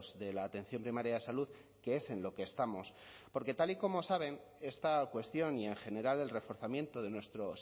de la atención primaria de salud que es en lo que estamos porque tal y como saben esta cuestión y en general el reforzamiento de nuestro